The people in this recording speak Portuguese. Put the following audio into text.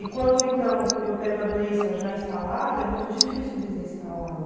E quando, então, eu pego a doença já instalada, é muito difícil desinstalá-la.